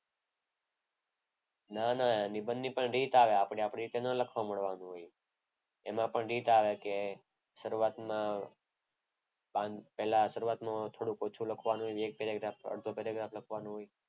નાના નિબંધ ની પણ રીત આવે આપણે આપણી રીતે ન લખવા માંડવાનું હોય. એમાં પણ રીત આવે કે શરૂઆતના પાન પહેલા શરૂઆતમાં ઓછું લખવાનું હોય એ એક પેરેગ્રાફ અડધો પેરેગ્રાફ લખવાનો હોય.